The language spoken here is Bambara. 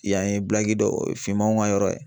Yan ye dɔ finmanw ka yɔrɔ ye